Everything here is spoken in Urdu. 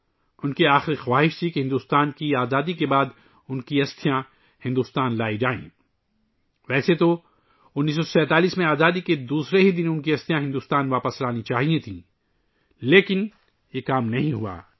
ان کی آخری خواہش تھی کہ ہندوستان کی آزادی کے بعد ان کی استھیاں ہندوستان لائی جائیں حالانکہ ان کی استھیاں 1947 ء میں آزادی کے دوسرے ہی دن ہندوستان واپس لائی جانی چاہیئے تھیں لیکن یہ کام نہیں ہوا